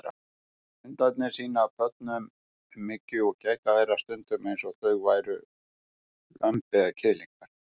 Hundarnir sýna börnum umhyggju og gæta þeirra stundum eins og þau væru lömb eða kiðlingar.